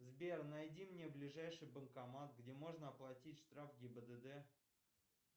сбер найди мне ближайший банкомат где можно оплатить штраф гибдд